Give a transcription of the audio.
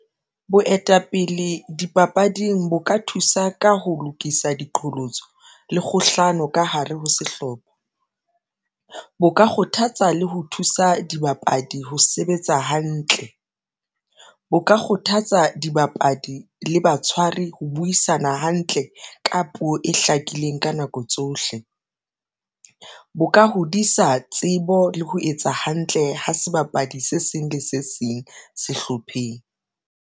Boetapele dipapading bo ka thusa ka ho lokisa diqholotso le kgohlano ka hare ho sehlopha bo ka kgothatsa le ho thusa dibapadi. Ho sebetsa hantle bo ka kgothatsa dibapadi le batshwari ho buisana hantle ka puo e hlakileng ka nako tsohle bo ka hodisa tsebo le ho etsa hantle ho sebapadi se seng le se seng sehlopheng.